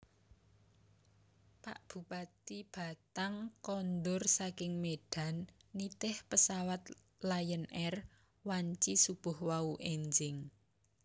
Pak Bupati Batang kondur saking Medan nitih pesawat Lion Air wanci subuh wau enjing